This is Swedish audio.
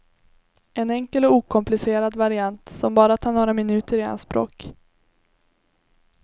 En enkel och okomplicerad variant som bara tar några minuter i anspråk.